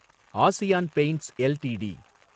ASEAN Paints LTD